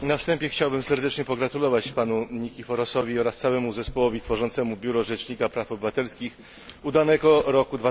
Na wstępie chciałbym serdecznie pogratulować panu Nikiforosowi oraz całemu zespołowi tworzącemu Biuro Rzecznika Praw Obywatelskich udanego roku